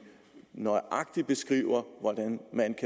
nøjagtig beskriver hvordan man